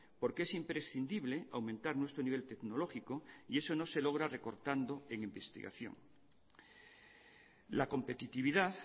porque es imprescindible aumentar nuestro nivel tecnológico y eso no se logra recortando en investigación la competitividad